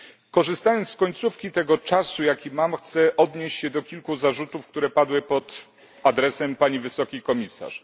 Korzystając z końcówki tego czasu, jaki mam, chcę odnieść się do kilku zarzutów, które padły pod adresem pani wysokiej komisarz.